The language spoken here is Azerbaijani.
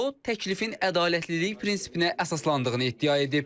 O, təklifin ədalətlilik prinsipinə əsaslandığını iddia edib.